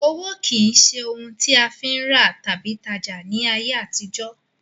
Owó ó kín ṣe òun a fi ń rà tàbí tajá ni ayé àtijó